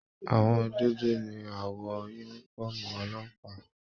Àwọ dúdú ní awọ yúnífọ̀ọ́mù ọlọ́pàá.